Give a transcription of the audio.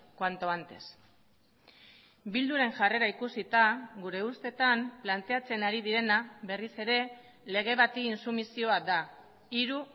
cuanto antes bilduren jarrera ikusita gure ustetan planteatzen ari direna berriz ere lege bati intsumisioa da hiru